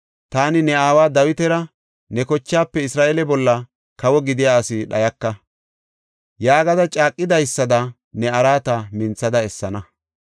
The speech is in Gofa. taani ne aawa Dawitara, ‘Ne kochaafe Isra7eele bolla kawo gidiya asi dhayaka’ yaagada caaqidaysada ne araata minthada essana.